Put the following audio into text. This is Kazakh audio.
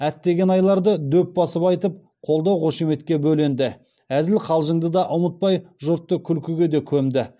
әттеген айларды дөп басып айтып қолдау қошеметке бөленді әзіл қалжыңды да ұмытпай жұртты күлкіге де көмді